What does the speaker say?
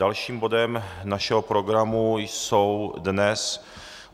Dalším bodem našeho programu jsou dnes